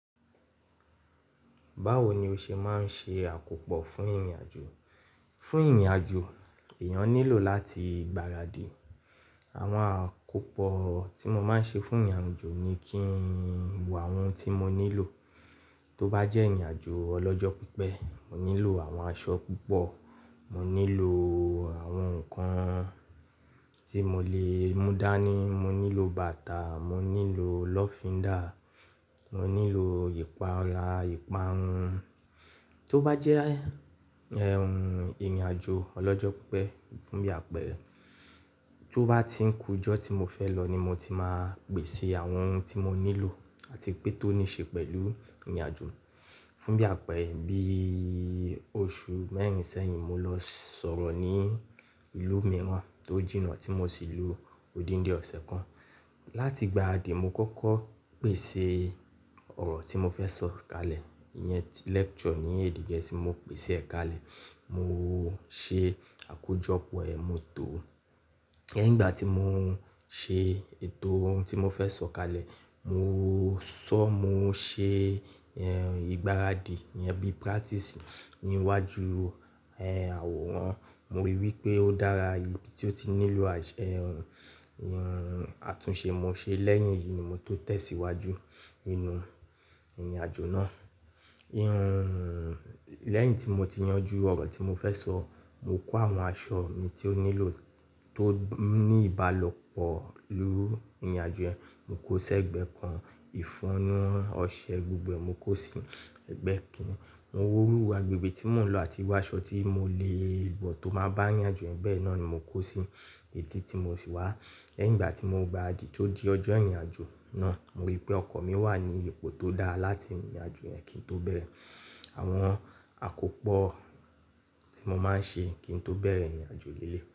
Báwo ni o ṣe máa ń ṣe àkópọ̀ fún ìrìnàjò? Fún ìrìnàjò, èèyàn nílò láti gbaradì. Àwọn àkópọ̀ tí mo máa ń ṣe fún ìrìnàjò ni kí ń wo àwọn ohun tí mo nílò. Tó bá jẹ́ ìrìnàjò ọlọ́jọ́ pípẹ́, mo nílò àwọn aṣọ púpọ̀, mo nílò àwọn nǹkan tí mo lè mú dání, mo nílò bàtà, mo nílò lọ́findà, mo nílò ìpara, ìparun. Tó bá jẹ́ ìrìnàjò ọlọ́jọ́ pípẹ́, fún bí àpẹẹrẹ, tó bá ti ń kú ọjọ́ tí mo fẹ́ lọ ní mo ti máa pèsè àwọn ohun tí mo nílò àti pé tó ní ṣe pẹ̀lú ìrìnàjò. Fún bí àpẹẹrẹ, bí oṣù mẹ́rin sẹ́yìn mo lọ sọ̀rọ̀ ní ìlú mìíràn tó jìnnà tí mo sì lu odindi ọ̀sẹ̀ kan. Láti gba adì mo kọ́kọ́ pèsè ọ̀rọ̀ tí mo fẹ́ sọ kalẹ̀, ìyẹn lecture ní A.D. Get mo pèsè kalẹ̀. Mo ṣe àkójọpọ̀ ẹ̀, mo tò ó. Lẹ́yìn ìgbà tí mo ṣe ètò ohun tí mo fẹ́ sọ kalẹ̀, mo sọ, mo ṣe ìgbáradì, ìyẹn bí practice níwájú ẹh àwòrán. Mo rí i pé ó dára, ibi tí ó ti nílò àṣẹ ohun, ohun àtúnṣe mo ṣe. Lẹ́yìn èyí ni mo tó tẹ̀síwájú inú ìrìnàjò náà. Ẹ́yìn tí mo ti yanjú ọ̀rọ̀ tí mo fẹ́ sọ, mo kó àwọn aṣọ mi tí ó nílò tó ní ìbálọ pẹ̀lú ìrìnàjò yẹn, mo kó o ṣẹ́gbẹ́ kan. Ìfonú, ọṣẹ gbogbo ẹ̀, mo kó si ẹgbẹ́ kìn-ín. Mo wò irú agbègbè tí mo ń lò àti irú aṣọ tí mo lè wọ tó má bá ìrìnàjò ẹ̀gbẹ́ yì náà ni mo kó sí. Lẹ́yìn ìgbà tí mo gba adì tó di ọjọ́ ìrìnàjò náà, mo rí i pé ọkọ̀ mi wà ní ipò tó dáa láti ìrìnàjò yẹn kí n tó bẹ̀rẹ̀. Àwọn àkópọ̀ tí mo máa ń ṣe kí n tó bẹ̀rẹ̀ ìrìnàjò lé lé.